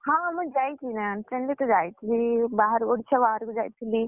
ହଁ ମୁଁ ଯାଇଛି ନା train ରେ ତ ଯାଇଥିଲି ବାହାରକୁ ଓଡ଼ିଶା ବାହାରକୁ ଯାଇଥିଲି,